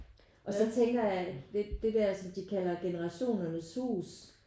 Og så tænker jeg lidt det der som de kalder Generationernes Hus